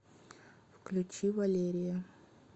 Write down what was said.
включи валерия